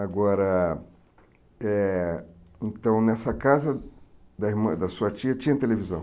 Agora, eh então nessa casa da irmã da sua tia tinha televisão?